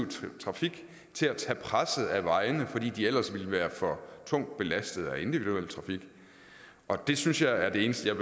trafik til at tage presset af vejene fordi de ellers ville være for tungt belastede af individuel trafik og det synes jeg er det eneste jeg